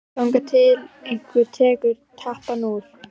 Þangað til einhver tekur tappann úr.